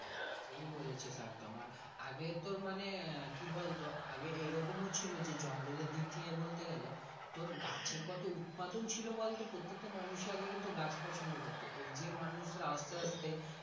ঠিক এ বলে চি একদমই আগে তো মানে আহ কি বলতো আগে এইরকম ও ছিল জঙ্গল এর দিক থেকে বলতে গেলে তোর গাছের কত উৎপাদন ছিল বলতো প্রতেকটা মানুষের আগে কিন্তু গাছ পছন্দ করত এই যে মানুষ রা আস্তে আস্তে।